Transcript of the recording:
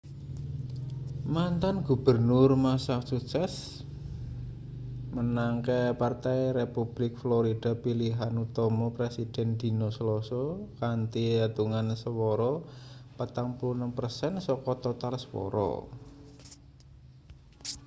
mantan gubernur massachusetts menangke partai republik florida pilihan utama presiden dina selasa kanthi etungan swara 46 persen saka total swara